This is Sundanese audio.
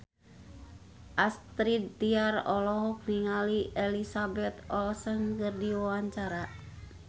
Astrid Tiar olohok ningali Elizabeth Olsen keur diwawancara